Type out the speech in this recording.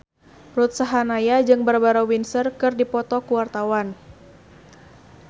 Ruth Sahanaya jeung Barbara Windsor keur dipoto ku wartawan